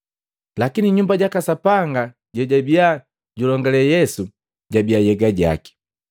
Lakini Nyumba jaka Sapanga jejabiya julongale Yesu, jabiya nhyega jaki.